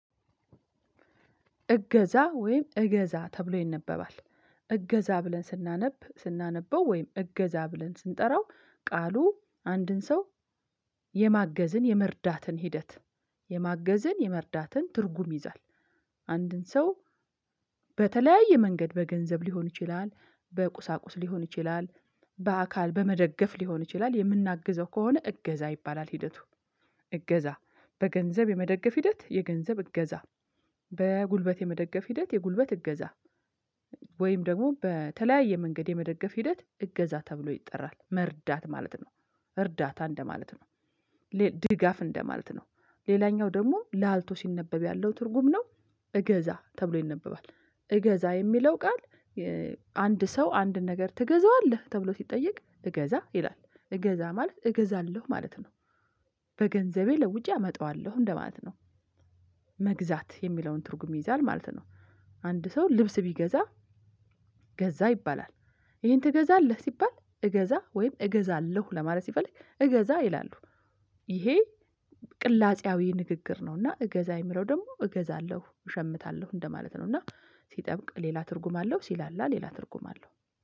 እገዛ ወይም እገዛ ተብሎ ይነበባል። እገዛ ብለን ስናነብ ስናነበው ወይም እገዛ ብለን ስንጠራው ቃሉ አንድን ሰው የማገዝን የመርዳትን ሂደት የማገዘን የመርዳትን ትርጉም ይይዛል። አንድን ሰው በተለያየ መንገድ በገንዘብ ሊሆን ይችላል በቁሳቁስ ሊሆን ይችላል። በአካል በመደገፍ ሊሆን ይችላል የምናግዘው ከሆነ እገዛ ይባላል ሂደቱ። እገዛ በገንዘብ የመደገፍ ሂደት የገንዘብ እገዛ በጉልበት የመደገፍ ሂደት የጉልበት እገዛ። ወይም ደግሞ በተለያየ መንገድ የመደገፍ ሂደት እገዛ ተብሎ ይጠራል መርዳት ማለት ነው። እርዳታ እንደማለት ነው። ድጋፍ እንደማለት ነው። ሌላኛው ደግሞ ላልቶ ሲነበብ ያለው ትርጉም ነው። እገዛ ተብሎ ይነበባል። እገዛ የሚለው ቃል። አንድ ሰው አንድ ነገር ትገዛዋለህ ተብሎ ሲጠየቅ እገዛ ይላል እገዛ ማለት እገዛለሁ ማለት ነው። በገንዘቤ ለውጪ አመጣዋለሁ እንደማለት ነው። መግዛት የሚለውን ትርጉም ይይዛል ማለት ነው። አንድ ሰው ልብስ ቢገዛ ገዛ ይባላል። ይሄን ትገዛለህ ሲባል እገዛ ወይም እገዛለሁ ለማለት ሲፈልግ እገዛ ይላሉ። ይሄ ቅላጼያዊ ንግግር ነው። እና እገዛ የሚለው ደግሞ እገዛለሁ እሸምታለሁ እንደማለት ነው። እና ሲጠብቅ ሌላ ትርጉም አለው ሲላላ ሌላ ትርጉም አለው